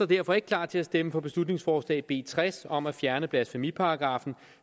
derfor ikke klar til at stemme for beslutningsforslag nummer b tres om at fjerne blasfemiparagraffen